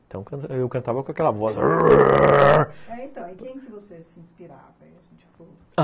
Então eu cantava com aquela voz... E quem que você se inspirava?